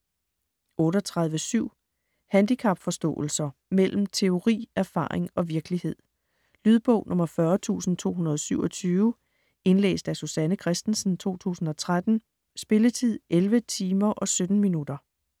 38.7 Handicapforståelser: mellem teori, erfaring og virkelighed Lydbog 40227 Indlæst af Susanne Kristensen, 2013. Spilletid: 11 timer, 17 minutter.